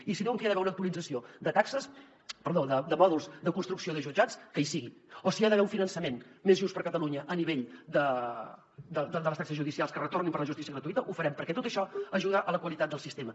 i si diuen que hi ha d’haver una actualització de taxes perdó de mòduls de construcció de jutjats que hi sigui o si hi ha d’haver un finançament més just per a catalunya a nivell de les taxes judicials que retornin per a la justícia gratuïta ho farem perquè tot això ajuda a la qualitat del sistema